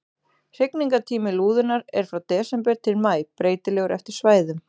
Hrygningartími lúðunnar er frá desember til maí, breytilegur eftir svæðum.